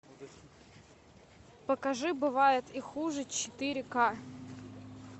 покажи бывает и хуже четыре ка